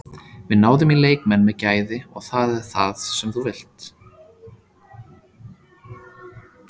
Við náðum í leikmenn með gæði og það er það sem þú vilt.